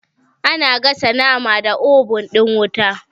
Ana gasa nama da obun ɗin wuta